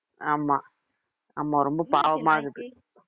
ஆமா